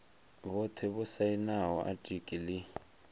vhothe vho sainaho atiki ḽi